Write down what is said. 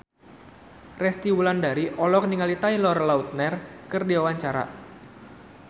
Resty Wulandari olohok ningali Taylor Lautner keur diwawancara